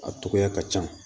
A togoya ka ca